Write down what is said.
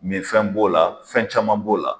Mɛ fɛn b'o la fɛn caman b'o la